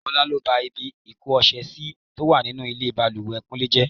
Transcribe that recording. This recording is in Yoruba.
Ọlá lọ bá ibi ìko ọṣẹ sì tó wà nínú bàlùwẹ̀ kúnlé jẹ́.